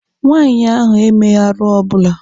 Nwaanyị ahụ emeghị arụ ọbụla.